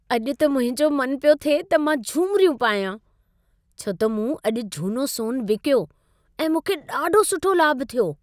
अॼु त मुंहिंजो मन पियो थिए त मां झुमिरियूं पायां, छो त मूं अॼु झूनो सोन विकियो ऐं मूंखे ॾाढो सुठो लाभ थियो।